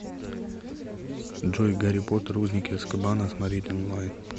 джой гарри потер узники азкабана смотреть онлайн